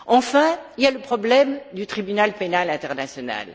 Enfin, il y a le problème de la Cour pénale internationale.